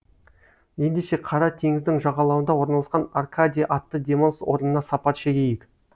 ендеше қара теңіздің жағалауында орналасқан аркадия атты демалыс орнына сапар шегейік